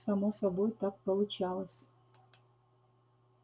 само собой так получалось